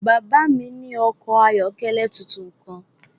Bàbá mi ní ọkọ̀ ayọ́kẹ́lẹ́ tuntun kan.